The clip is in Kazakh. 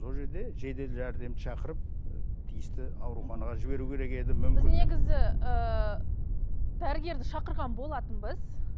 бұл жерде жедел жәрдем шақырып тиісті ауруханаға жіберу керек еді мүмкін біз негізі ііі дәрігерді шақырған болатынбыз